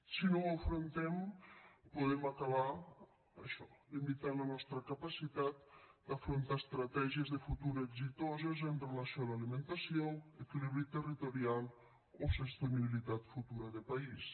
si no ho afrontem podem acabar això limitant la nostra capacitat d’afrontar estratègies de futur exitoses amb relació a l’alimentació equilibri territorial o sostenibilitat futura de país